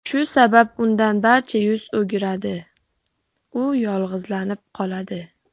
Shu sabab undan barcha yuz o‘giradi, u yolg‘izlanib qoladi.